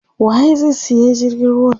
Waye zai siya jirgin ruwa?